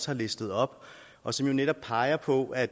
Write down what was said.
har listet op og som jo netop peger på at